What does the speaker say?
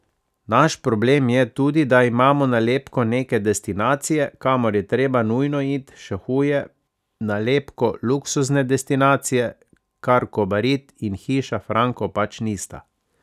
Naš problem je tudi, da imamo nalepko neke destinacije, kamor je treba nujno it, še huje, nalepko luksuzne destinacije, kar Kobarid in Hiša Franko pač nista.